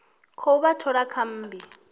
khou vha thola kha mmbi